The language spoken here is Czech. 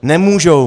Nemůžou.